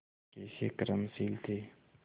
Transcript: कैसे कर्मशील थे